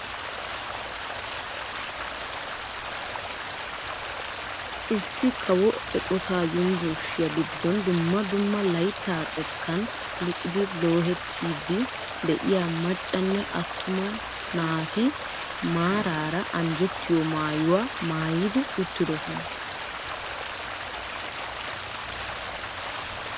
Issi kawo eqotaa yunburushiyaa giddon dumma dumma layttaa xekkan luxxidi lohettiidi de'iyaa maccanne attuma naati maarara anjjettiyoo maayuwaa maayidi uttidoosona.